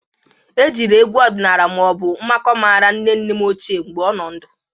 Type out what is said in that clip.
E jiri egwu ọdịnala ma ọ bụ nmakụ mara nne nne m ochie mgbe ọ nọ ndụ.